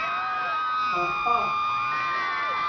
Harpa